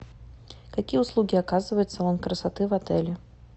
какие услуги оказывает салон красоты в отеле